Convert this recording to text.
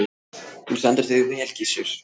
Þú stendur þig vel, Gissur!